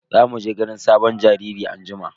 Za mu je ganin sabon jariri anjima.